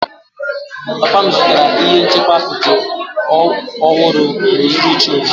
Papa m zụtara ihe nchekwa apịtị ọhụrụ n'uhuruchi ụnyaahụ.